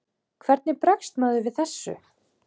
Hvernig bregst maður við þessu?